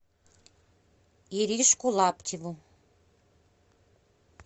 иришку лаптеву